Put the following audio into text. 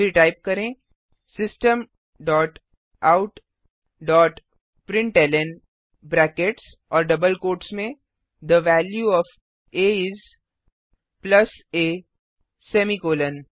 फिर टाइप करें system dot out dot println brackets और डबल कोठ्स में थे वैल्यू ओएफ आ इस प्लस आ सेमीकॉलन